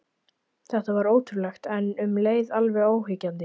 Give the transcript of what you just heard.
Þetta var ótrúlegt, en um leið alveg óyggjandi.